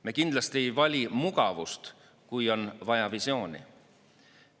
Me kindlasti ei vali mugavust, kui on vaja visiooni.